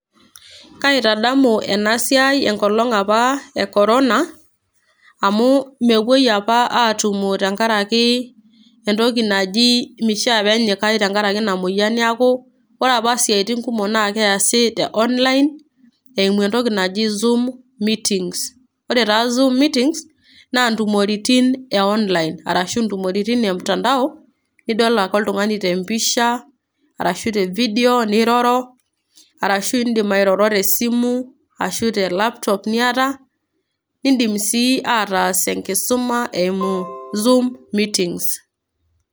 Kaitadamu ena siai enkolong' apa e Corona amu mepuoi apa aatumo tenkaraki entoki naji meshiaa pee enyikai tenkaraki ina moyian neeku ore apa isiaitin kumok naa keesi te online eimu entoki naji zoom meetings ore taa zoom meetings naa intumoritin e online ashu intumoritin e mtandao nidol ake oltung'ani te mpisha ashu te video niroro arashu indim airoro te esimu ashu te laptop niata iindim sii ataas enkisuma eimu zooom meetings.